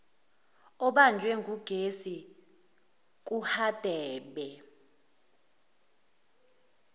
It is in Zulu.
obanjwe ngugesi kuhadebe